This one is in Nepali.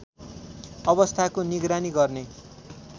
अवस्थाको निगरानी गर्ने